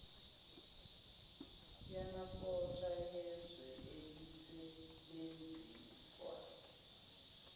yamasosha yezwe elisebenzisa